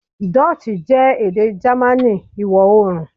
Dutch jẹ ede Germani iwọ-oorun